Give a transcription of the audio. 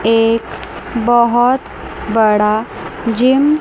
एक बहोत बड़ा जिम --